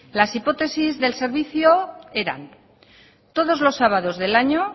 las hipótesis del servicio eran todos los sábados del año